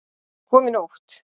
Hann kom í nótt.